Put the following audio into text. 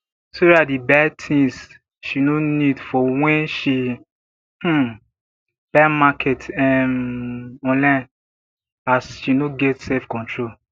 sarah dey buy tins she no need for when she um buy market um online as she no get self control